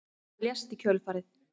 Hann lést í kjölfarið